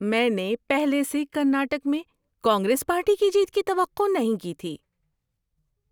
میں نے پہلے سے کرناٹک میں کانگریس پارٹی کی جیت کی توقع نہیں کی تھی۔